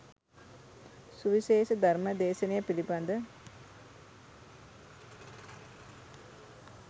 සුවිශේෂ ධර්ම දේශනය පිළිබඳ